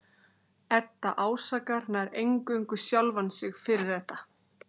Edda ásakar nær eingöngu sjálfa sig fyrir þetta.